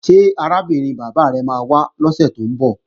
Ṣé arábìnrin bàbá rẹ máa wá lọ́sè tó ń bọ̀?